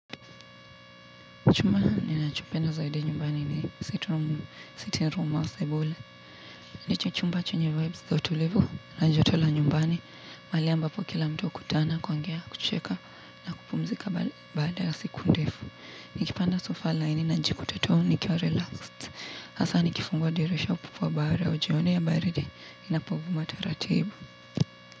Chumba ninachopenda zaidi nyumbani ni sitting room au sabule. Ndicho chumba chenye vibes za utulivu na joto la nyumbani. Mahali ambapo kila mtu hukutana kuongea kucheka kupumzika baada ya siku ndefu. Nikipanda sofa laini najikuta tu nikiwa relaxed. Hasa nikifungua dirisha upupo wa bahari au jioni ya baridi inapovuma taratibu.